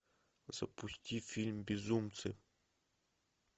запусти фильм безумцы